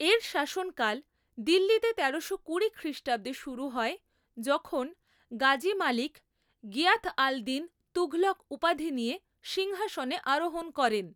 এর শাসনকাল দিল্লীতে তেরোশো কুড়ি খ্রিষ্টাব্দে শুরু হয় যখন গাজী মালিক গিয়াথ আল দিন তুঘলক উপাধি নিয়ে সিংহাসনে আরোহণ করেন।